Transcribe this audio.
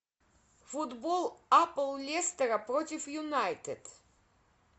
футбол апл лестера против юнайтед